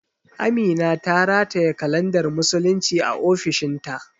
Amina ta rataye kalandar musulunci a ofishin ta